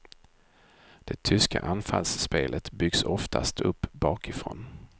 Det tyska anfallsspelet byggs oftast upp bakifrån.